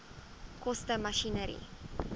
koste masjinerie